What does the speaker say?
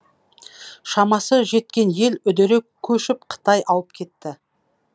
шамасы жеткен ел үдере көшіп қытай ауып кетті